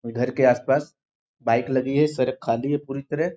घर के आसपास बाइक लगी हुई है सड़क खाली है पूरी तरह।